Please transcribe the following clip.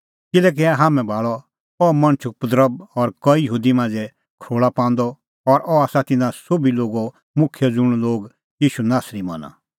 किल्हैकि हाम्हैं भाल़अ अह मणछ उपद्रभ और कई यहूदी मांझ़ै खरोल़ा पांदअ और अह आसा तिन्नां सोभी लोगो मुखिय ज़ुंण लोग ईशू नासरी मना